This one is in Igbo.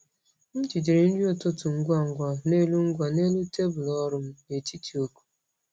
M jidere nri ụtụtụ ngwa ngwa n’elu ngwa n’elu tebụl ọrụ m n’etiti oku.